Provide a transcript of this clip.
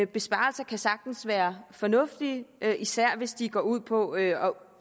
besparelser kan sagtens være fornuftige især hvis de går ud på at